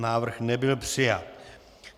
Návrh nebyl přijat.